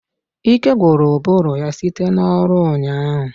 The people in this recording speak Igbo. Ike gwụrụ ụbụrụ ya site n'ọrụ ụnyaahụ